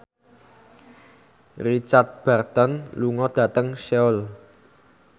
Richard Burton lunga dhateng Seoul